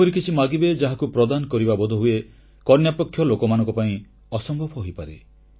ଏପରି କିଛି ମାଗିବେ ଯାହାକୁ ପ୍ରଦାନ କରିବା ବୋଧହୁଏ କନ୍ୟାପକ୍ଷ ଲୋକମାନଙ୍କ ପାଇଁ ଅସମ୍ଭବ ହୋଇପାରେ